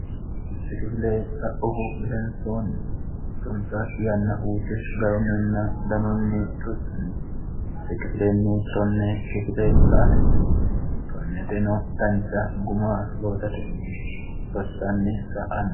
si kifile sa'uhu idensoonni sunsa yanna uute garu ninna danunni tussanni sikifilenni tonne kifile sa atenni 1onne xeno dancha guma loosatenni rossanni saa'anno